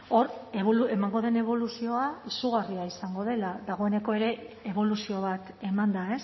hor emango den eboluzioa izugarria izango dela dagoeneko ere eboluzio bat eman da